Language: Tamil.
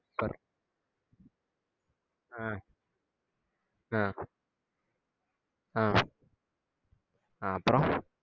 ஆஹ் ஆஹ் ஆஹ் ஆஹ் அப்பறோ